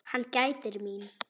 Hann gætir mín.